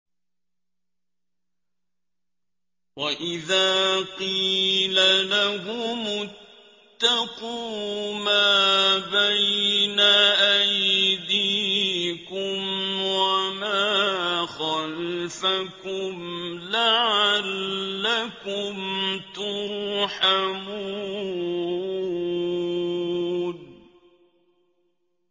وَإِذَا قِيلَ لَهُمُ اتَّقُوا مَا بَيْنَ أَيْدِيكُمْ وَمَا خَلْفَكُمْ لَعَلَّكُمْ تُرْحَمُونَ